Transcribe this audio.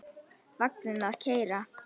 Vagninn að keyra.